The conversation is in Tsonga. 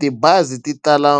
Tibazi ti tala